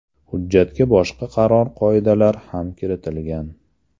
Hujjatga boshqa qator qoidalar ham kiritilgan.